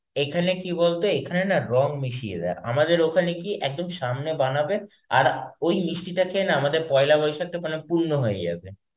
এখানে কি বলতো, এখানে না রঙ মিশিয়ে দেয়. আমাদের ওখানে কি একদম সামনে বানাবে, আর ওই মিষ্টিটা খেয়ে না আমাদের পয়লা বৈশাখটা পুর্ন্য হয়ে যাবে.